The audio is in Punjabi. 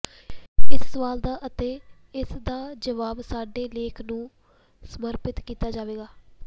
ਇਸ ਸਵਾਲ ਦਾ ਅਤੇ ਇਸ ਦਾ ਜਵਾਬ ਸਾਡੇ ਲੇਖ ਨੂੰ ਸਮਰਪਿਤ ਕੀਤਾ ਜਾਵੇਗਾ